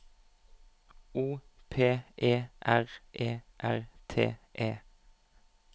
O P E R E R T E